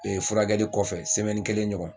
furakɛli kɔfɛ kelen ɲɔgɔn.